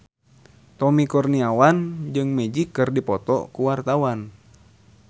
Tommy Kurniawan jeung Magic keur dipoto ku wartawan